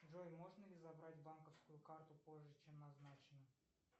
джой можно ли забрать банковскую карту позже чем назначено